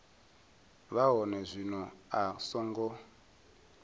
vha hone zwino a songo